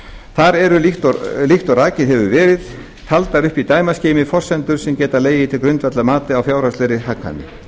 þar eru líkt og rakið hefur verið áður taldar upp í dæmaskyni forsendur sem geta legið til grundvallar mati á fjárhagslegri hagkvæmni